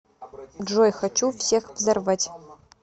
джой хочу всех взорвать